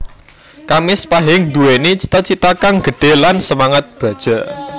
Kamis Pahing Nduwéni cita cita kang gedhe lan semangat baja